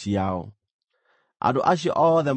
Andũ acio othe marĩ hamwe maarĩ 603,550.